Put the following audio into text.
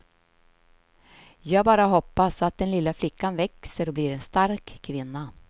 Jag bara hoppas att den lilla flickan växer och blir en stark kvinna.